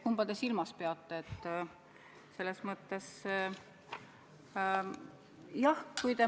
Kumba te silmas peate?